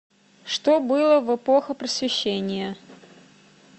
что было в эпоха просвещения